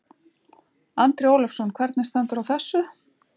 Andri Ólafsson: Hvernig stendur á þessu?